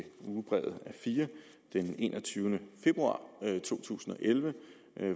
ugebrevet a4 den enogtyvende februar to tusind og elleve